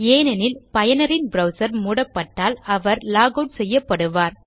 ஏனெனில் பயனரின் ப்ரவ்சர் மூடப்பட்டால் அவர் லாக் ஆட் செய்யப்படுவார்